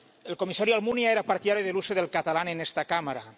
El comisario Almunia era partidario del uso del catalán en esta Cámara.